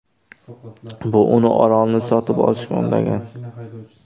Bu uni orolni sotib olishga undagan.